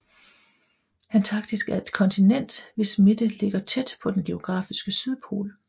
Antarktis er et kontinent hvis midte ligger tæt på den geografiske sydpol